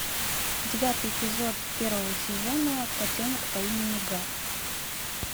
девятый эпизод первого сезона котенок по имени гав